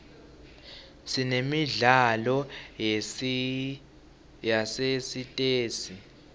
sinemidlalo yasesitesi